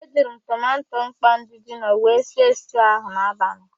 E jiri m tomanto mkpọ ndị jino wee sie stuu ahụ n'abalị.